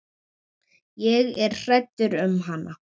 Ég er hrædd um hana.